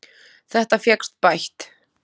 Þetta fékkst bætt.